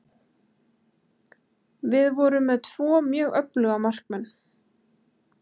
Við vorum með tvo mjög öfluga markmenn.